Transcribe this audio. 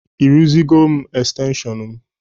Ị rụzigoro m xtenshịọn m?